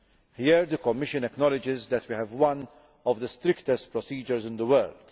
Here the Commission acknowledges that we have one of the strictest procedures in the world.